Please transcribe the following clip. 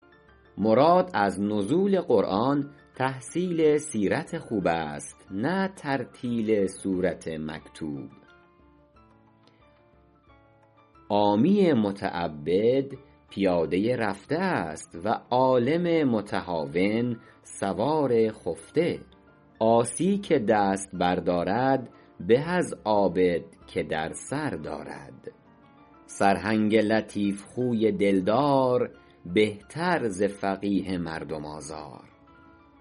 مراد از نزول قرآن تحصیل سیرت خوب است نه ترتیل سورت مکتوب عامی متعبد پیاده رفته است و عالم متهاون سوار خفته عاصی که دست بر دارد به از عابد که در سر دارد سرهنگ لطیف خوی دل دار بهتر ز فقیه مردم آزار